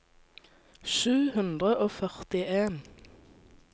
sju hundre og førtien